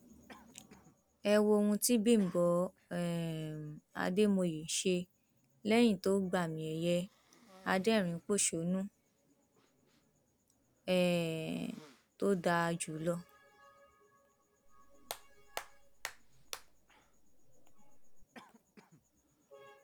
ẹ wo ohun tí bímbọ um àdèmọye ṣe lẹyìn tó gbàmìẹyẹ adẹrìnínpọṣónú um tó dáa jù lọ